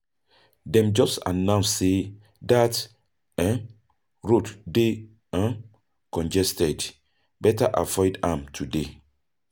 Dem just announce say that road dey congested, better avoid am today.